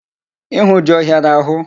Ịhụ jị ọhịara ahụ?